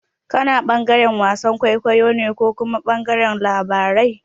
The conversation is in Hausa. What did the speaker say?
Kana ɓangaren wasan kwaikwayo ne ko kuma ɓangaren labarai?